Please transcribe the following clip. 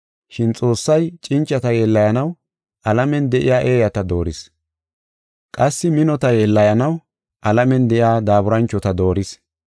Shin Xoossay cincata yeellayanaw alamen de7iya eeyata dooris; qassi minota yeellayanaw alamen de7iya daaburanchota dooris.